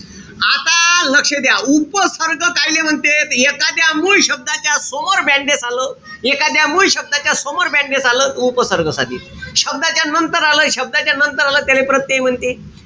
आता लक्ष द्या. उपसर्ग कायले म्हणते? त एकाद्या मूळ शब्दाच्या समोर आलं, एकाद्या मूळ शब्दाच्या समोर आलं. त उपसर्ग साधित. शब्दाच्या नंतर आलं, शब्दाच्या नंतर आलं त्याले प्रत्यय म्हणते.